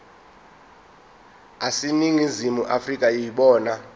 aseningizimu afrika yibona